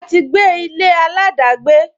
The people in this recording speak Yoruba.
A ti gbé ilé aladagbe